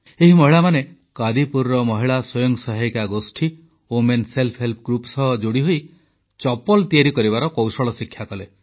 ଏହି ମହିଳାମାନେ କାଦିପୁରର ମହିଳା ସ୍ୱୟଂ ସହାୟିକା ଗୋଷ୍ଠୀ ସହ ଯୋଡ଼ିହୋଇ ଚପଲ ତିଆରି କରିବାର କୌଶଳ ଶିକ୍ଷା କଲେ